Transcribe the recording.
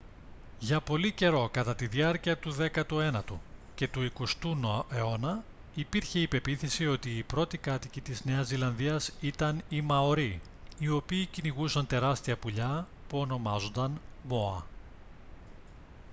για πολύ καιρό κατά τη διάρκεια του δέκατου ένατου και του εικοστού αιώνα υπήρχε η πεποίθηση ότι οι πρώτοι κάτοικοι της νέας ζηλανδίας ήταν οι μαορί οι οποίοι κυνηγούσαν τεράστια πουλιά που ονομάζονταν μόα